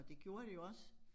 Og det gjorde det også